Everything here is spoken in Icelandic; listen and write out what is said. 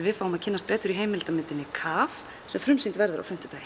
við fáum að kynnast betur í heimildamyndinni KAF sem frumsýnd verður á fimmtudaginn